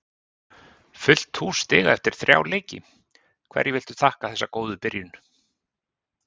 Fullt hús stiga eftir þrjá leiki, hverju viltu þakka þessa góðu byrjun?